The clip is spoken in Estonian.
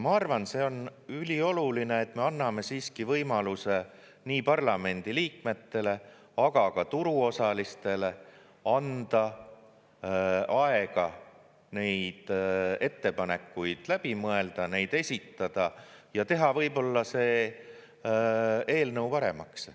Ma arvan, et see on ülioluline, et me anname siiski võimaluse nii parlamendiliikmetele, aga ka turuosalistele, anda aega neid ettepanekuid läbi mõelda, neid esitada ja teha võib-olla see eelnõu paremaks.